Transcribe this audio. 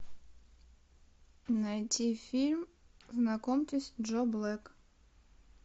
найди фильм знакомьтесь джо блэк